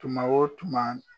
Tuma o tuma